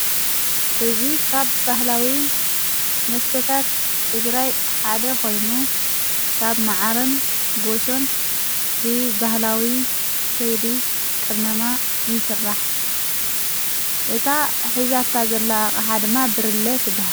እዙ ኻብ ባህላዊ መስተታት ጥግራይ ሓደ ኾይኑ ካብ መዓርን ጐሾን ብባህላዊ ከይዲ ቕመማ ይሥራሕ እታ ኂዛታ ዘላ ሓድማ ብርለ ትበሃል።